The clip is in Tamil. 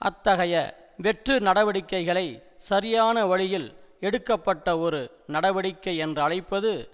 அத்தகைய வெற்று நடவடிக்கைகளை சரியான வழியில் எடுக்க பட்ட ஒரு நடவடிக்கை என்றழைப்பது